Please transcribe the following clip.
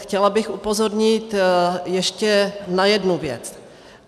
Chtěla bych upozornit ještě na jednu věc.